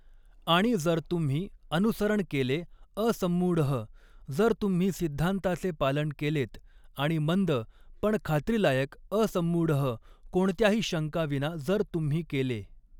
आणि जर तुम्ही अनुसरण केले असम्मूढः जर तुम्ही सिद्धांताचे पालन केलेत आणि मंद पण खात्रीलायक असम्मूढः कोणत्याही शंका विना जर तुम्ही केले.